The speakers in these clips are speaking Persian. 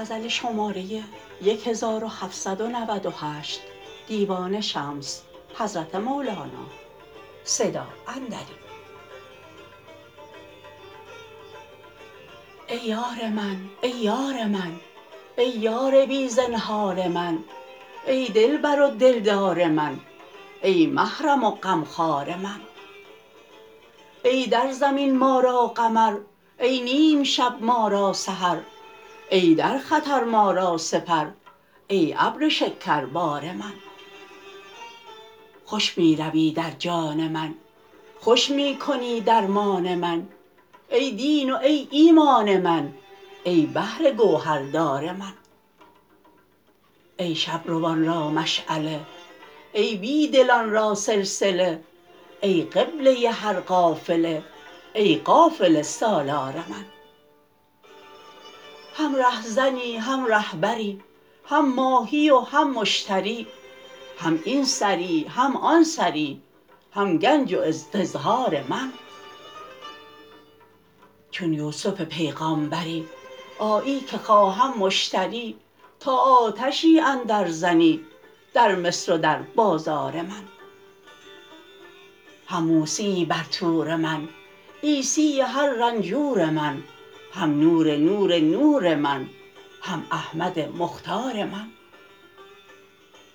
ای یار من ای یار من ای یار بی زنهار من ای دلبر و دلدار من ای محرم و غمخوار من ای در زمین ما را قمر ای نیم شب ما را سحر ای در خطر ما را سپر ای ابر شکربار من خوش می روی در جان من خوش می کنی درمان من ای دین و ای ایمان من ای بحر گوهردار من ای شب روان را مشعله ای بی دلان را سلسله ای قبله هر قافله ای قافله سالار من هم ره زنی هم ره بری هم ماهی و هم مشتری هم این سری هم آن سری هم گنج و استظهار من چون یوسف پیغامبری آیی که خواهم مشتری تا آتشی اندر زنی در مصر و در بازار من هم موسیی بر طور من عیسیء هر رنجور من هم نور نور نور من هم احمد مختار من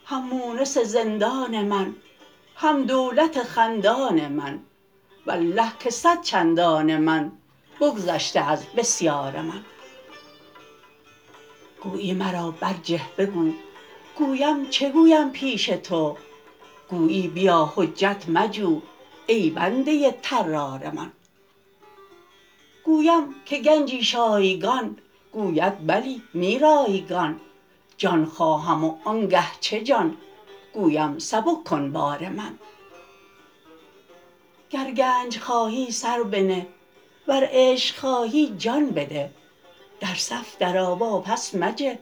هم مونس زندان من هم دولت خندان من والله که صد چندان من بگذشته از بسیار من گویی مرا برجه بگو گویم چه گویم پیش تو گویی بیا حجت مجو ای بنده طرار من گویم که گنجی شایگان گوید بلی نی رایگان جان خواهم و آنگه چه جان گویم سبک کن بار من گر گنج خواهی سر بنه ور عشق خواهی جان بده در صف درآ واپس مجه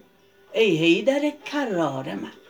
ای حیدر کرار من